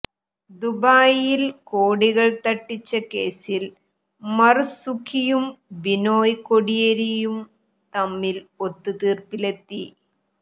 ദുബായിൽ കോടികൾ തട്ടിച്ച കേസിൽ മർസുഖിയും ബിനോയ് കോടിയേരിയും തമ്മിൽ ഒത്ത് തീർപ്പിലെത്തി